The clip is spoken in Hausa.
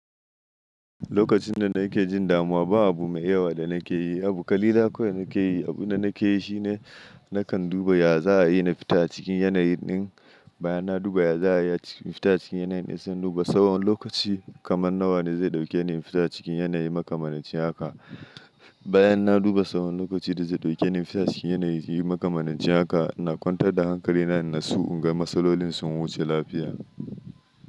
Lokacin da na ke jin damuwa, ba abu mai yawa da na ke yi. Abu kalila kawai na ke yi. Abu da na ke yi shi ne, na kan duba ya za a yi na fita cikin yanayi ɗin bayan na duba ya za a yi na fita cikin yanayi na son duba tsawon lokaci kaman nawa ne zai ɗauke ni in fita cikin yanayi maka manaci haka. Bayan na duba tsawon lokaci da zai ɗauke ni in fita cikin yanayi maka manaci haka, ina kwantar da hankali na in nasu inga matsalolin sun wuce lafiya.